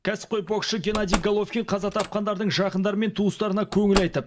кәсіпқой боксшы геннадий головкин қаза тапқандардың жақындары мен туыстарына көңіл айтып